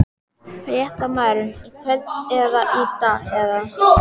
Fréttamaður: Í kvöld eða í dag eða?